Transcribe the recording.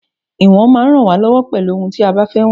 Ìwọ̀n máa ń rán wa lọwọ pelu òhun tí a bá fẹ́ wọn